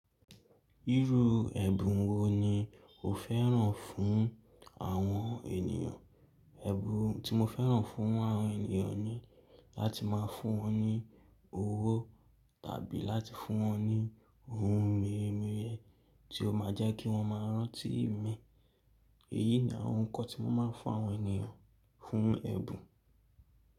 Irú ẹ̀bùn wo ni o fẹ́ràn fún àwọn ènìyàn? Ẹ̀bùn tí mo fẹ́ràn fún àwọn ènìyàn ni láti máa fún wọn ní owó tàbí láti fún wọn ní ohun mere mere tí ó máa jẹ́ kí wọ́n máa rántí mi. Èyí ni àwọn nǹkan tí mo máa ń fún àwọn ènìyàn fún ẹ̀bùn.